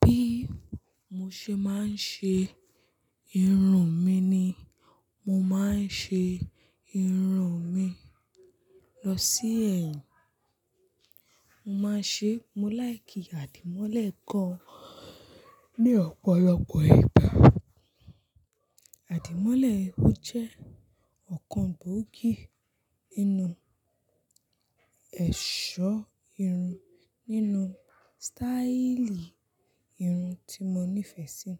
Bí mo ṣe máa ń ṣe irun mi ni, mo máa ń ṣe irun mi lọ sí ẹ̀yìn. Mo máa ń ṣe, mo láì kí àdìmọ́lẹ̀ gan ní ọ̀pọ̀lọpọ̀ ìgbà. Àdìmọ́lẹ̀, ó jẹ́ ọ̀kan gbòógì nínú ẹ̀ṣọ́ irun nínú sítáílì irun tí mo nífẹ̀ẹ́ sí.